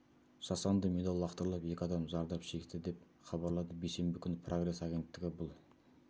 жасанды медаль лақтырылып екі адам зардап шекті деп хабарлады бейсенбі күні пресс агенттігі бұл